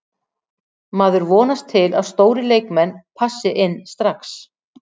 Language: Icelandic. Maður vonast til að stórir leikmenn passi inn strax.